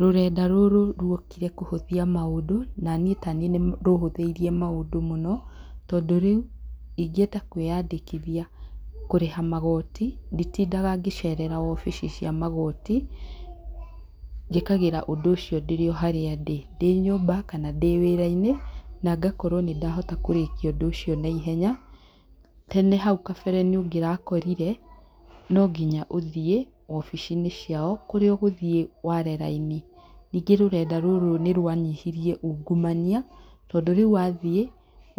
Rũrenda rũrũ ruokire kũhũthia maũndũ, na niĩ taniĩ nĩ rũhũthĩirie maũndũ mũno. Tondũ rĩu, ingĩenda kwĩandĩkithia kũrĩha magoti, nditindaga gĩcerera obici cia magoti, njĩkagĩra ũndũ ũcio ndĩ harĩa ndĩ. Ndĩ nyũmba, kana ndĩ wĩra-inĩ, na ngakorwo nĩ ndahota kũrĩkia ũndũ ũcio naihenya. Tene hau kabere nĩ ũngĩrakorire, no nginya ũthiĩ obici-inĩ cia kũrĩa ũgũthiĩ ware raini. Ningĩ rũrenda rũrũ nĩ rwanyihirie uungumania, tondũ rĩu wathiĩ,